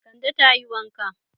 Kande ta yi wanka.